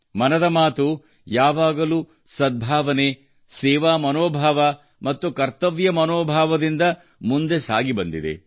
ಮನದ ಮಾತು ಯಾವಾಗಲೂ ಸದ್ಭಾವನೆ ಸೇವಾ ಮನೋಭಾವ ಮತ್ತು ಕರ್ತವ್ಯ ಮನೋಭಾವದಿಂದ ಮುಂದೆ ಸಾಗಿ ಬಂದಿದೆ